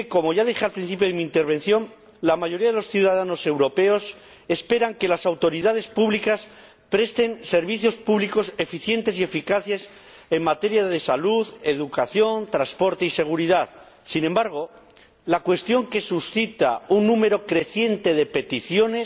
Y es que ―como ya dije al principio de mi intervención― la mayoría de los ciudadanos europeos espera que las autoridades públicas presten servicios públicos eficientes y eficaces en materia de salud, educación, transporte y seguridad. Sin embargo, la cuestión que suscita un número creciente de peticiones